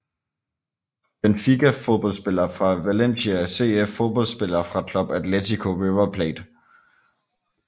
Benfica Fodboldspillere fra Valencia CF Fodboldspillere fra Club Atlético River Plate